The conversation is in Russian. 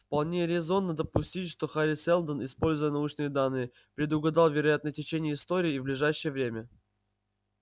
вполне резонно допустить что хари сэлдон используя научные данные предугадал вероятное течение истории в ближайшее время